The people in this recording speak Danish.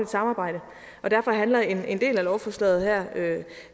samarbejde og derfor handler en en del af lovforslaget her